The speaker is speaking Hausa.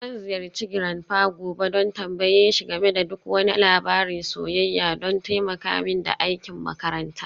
Zan ziyarci grandpa gobe don tambaye shi game da duk wani labarin soyayya don taimaka mini da aikin makaranta.